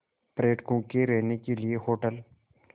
पर्यटकों के रहने के लिए होटल